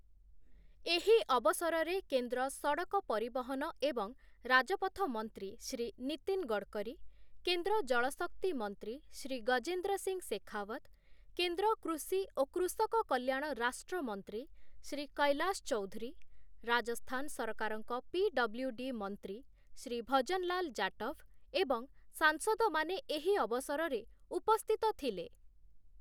ଏହି ଅବସରରେ କେନ୍ଦ୍ର ସଡ଼କ ପରିବହନ ଏବଂ ରାଜପଥ ମନ୍ତ୍ରୀ ଶ୍ରୀ ନିତିନ ଗଡ଼କରୀ, କେନ୍ଦ୍ର ଜଳ ଶକ୍ତି ମନ୍ତ୍ରୀ ଶ୍ରୀ ଗଜେନ୍ଦ୍ର ସିଂ ଶେଖାୱତ, କେନ୍ଦ୍ର କୃଷି ଓ କୃଷକ କଲ୍ୟାଣ ରାଷ୍ଟ୍ରମନ୍ତ୍ରୀ ଶ୍ରୀ କୈଲାଶ ଚୌଧୁରୀ, ରାଜସ୍ଥାନ ସରକାରଙ୍କ ପି.ଡବ୍ଲ୍ୟୁ.ଡି. ମନ୍ତ୍ରୀ ଶ୍ରୀ ଭଜନଲାଲ ଜାଟଭ ଏବଂ ସାଂସଦମାନେ ଏହି ଅବସରରେ ଉପସ୍ଥିତ ଥିଲେ ।